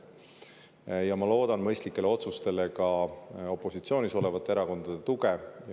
Ma loodan mõistlikele otsustele ka opositsioonis olevate erakondade tuge.